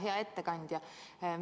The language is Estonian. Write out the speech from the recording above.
Hea ettekandja!